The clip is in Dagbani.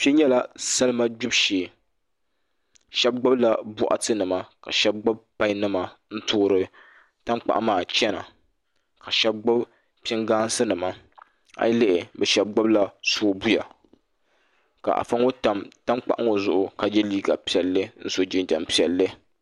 Kpɛ nyɛla salima gbibu shee shab gbubila boɣati nima ka shab gbubi pai nima n toori tankpaɣu maa chɛna ka shab gbubi pingaasi nima a yi lihi bi shab gbubila soobuya ka afa ŋo tam tankpaɣu ŋo zuɣu ka yɛ liiga piɛlli n so jinjɛm piɛlli